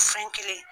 Fɛn kelen